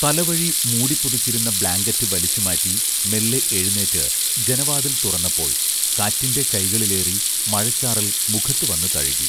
തലവഴി മൂടിപ്പുതച്ചിരുന്ന ബ്ലാങ്കറ്റ് വലിച്ചുമാറ്റി മെല്ലെ എഴുന്നേറ്റ് ജനവാതിൽ തുറന്നപ്പോൾ കാറ്റിന്റെ കൈകളിലേറി മഴച്ചാറൽ മുഖത്തുവന്നു തഴുകി